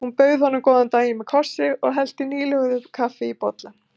Hún bauð honum góðan daginn með kossi og hellti nýlöguðu kaffi í bolla.